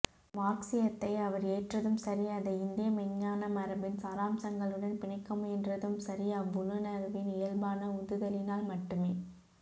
மார்க்ஸியத்தை அவர் ஏற்றதும் சரி அதை இந்திய மெய்ஞான மரபின் சாராம்சங்களுடன் பிணைக்கமுயன்றதும் சரி அவ்வுள்ளுணர்வின் இயல்பான உந்துதலினால் மட்டுமே